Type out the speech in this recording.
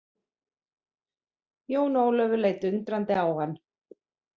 Jón Ólafur leit undrandi á hann.